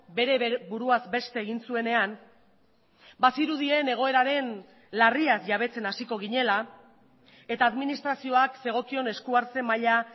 bere buruaz beste egin zuenean bazirudien egoeraren larriaz jabetzen hasiko ginela eta administrazioak zegokion eskuhartze maila